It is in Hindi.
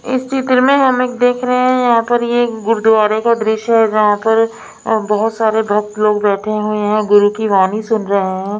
इस चित्र में हम एक देख रहे हैं यहाँ पर ये गुरुद्वारे का दृश्य है जहाँ पर अ बहुत सारे भक्त लोग बैठे हुए हैं गुरु की वाणी सुन रहे हैं।